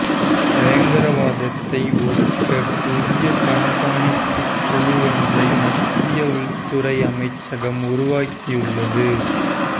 பயங்கரவாதத்தை ஒடுக்க புதிய கண்காணிப்பு குழுவொன்றை மத்திய உள்துறை அமைச்சகம் உருவாக்கியுள்ளது